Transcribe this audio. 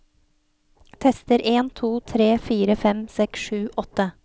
Tester en to tre fire fem seks sju åtte